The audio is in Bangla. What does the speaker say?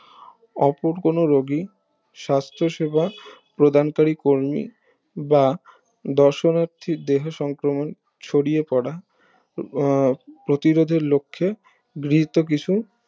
ওপর কোনো রুগী সাস্থ সেবা প্রদান করি কর্মী বা দশনার্থী দেহে সংক্রমণ ছড়িয়ে পড়া উম প্রতিরোধের লক্ষে গৃহীত কিছু